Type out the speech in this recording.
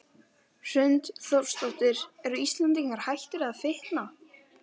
Hrund Þórsdóttir: Eru Íslendingar hættir að fitna?